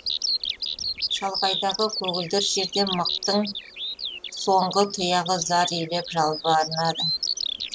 шалғайдағы көгілдір жерден мықтың соңғы тұяғы зар илеп жалбарынады